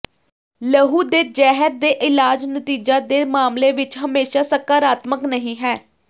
ਲਹੂ ਦੇ ਜ਼ਹਿਰ ਦੇ ਇਲਾਜ ਨਤੀਜਾ ਦੇ ਮਾਮਲੇ ਵਿਚ ਹਮੇਸ਼ਾ ਸਕਾਰਾਤਮਕ ਨਹੀ ਹੈ